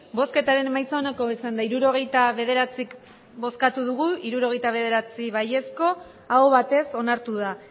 hirurogeita bederatzi eman dugu bozka hirurogeita bederatzi bai aho batez onartu da